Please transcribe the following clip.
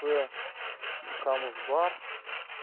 то ханост бар